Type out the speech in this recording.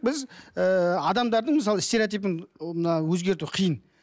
біз ыыы адамдардың мысалы стереотипін мына өзгерту қиын